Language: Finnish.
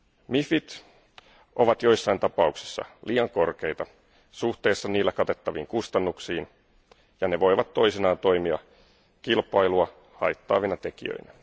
MIFit ovat joissain tapauksissa liian korkeita suhteessa niillä katettaviin kustannuksiin, ja ne voivat toisinaan toimia kilpailua haittaavina tekijöinä.